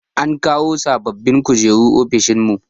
An kawo sababbin kujeru ofishin mu.